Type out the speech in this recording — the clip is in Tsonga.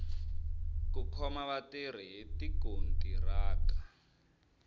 ku khoma vatirhi hi tikontiraka